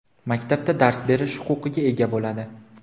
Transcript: maktabda dars berish huquqiga ega bo‘ladi.